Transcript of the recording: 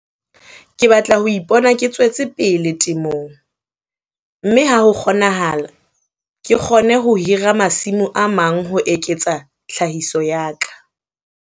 Ke batla ho ipona ke tswetse pele temong, mme ha ho kgonahala ke kgone ho hira masimo a mang ho eketsa tlhahiso ya ka.